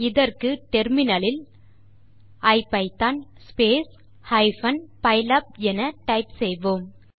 இதற்கு முனையத்தில் ஐபிதான் ஸ்பேஸ் ஹைபன் பைலாப் என டைப் செய்வோம்